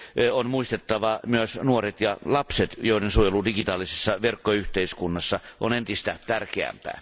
On muistettava myös nuoret ja lapset, joiden suojelu digitaalisessa verkkoyhteiskunnassa on entistä tärkeämpää.